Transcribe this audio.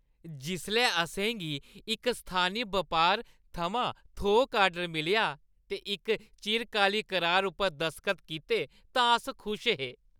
जिसलै असें गी इक स्थानी बपार थमां थोक आर्डर मिलेआ ते इक चिरकाली करार उप्पर दसखत कीते तां अस खुश हे।